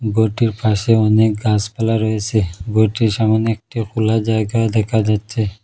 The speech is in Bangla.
গরটির পাশে অনেক গাসপালা রয়েছে গরটির সামোনে একটা খুলা জায়গা দেখা যাচ্ছে।